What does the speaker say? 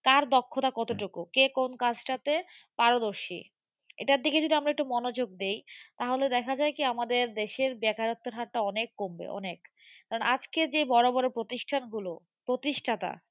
কার দক্ষতা কতটুকু কে কোন কাজটাতে পারদর্শী। এটার দিকে যদি আমরা একটু মনোযোগ দেই তাহলে দেখা যায় কি আমাদের দেশের বেকারত্বের হার টা অনেক কমবে অনেক। কারণ আজকে যে বড়োবড়ো প্রতিষ্ঠানগুলো প্রতিষ্ঠাতা